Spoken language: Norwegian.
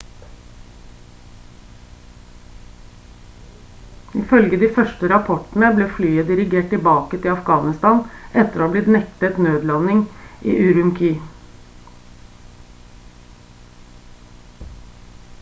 ifølge de første rapportene ble flyet dirigert tilbake til afghanistan etter å ha blitt nektet nødlanding i ürümqi